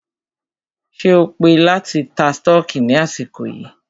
Ṣé o pé láti ta stọọkí ní àsìkò yìí?